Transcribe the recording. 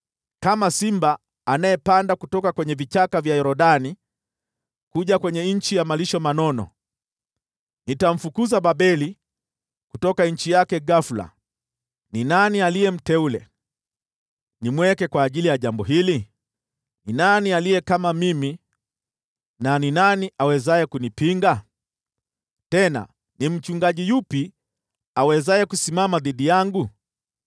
Kama simba anayepanda kutoka vichaka vya Yordani kuja kwenye nchi ya malisho mengi, ndivyo nitamfukuza Babeli kutoka nchi yake ghafula. Ni nani aliye mteule, nitakayemweka kwa ajili ya jambo hili? Ni nani aliye kama mimi, na ni nani awezaye kunipinga? Tena ni mchungaji yupi awezaye kusimama kinyume nami?”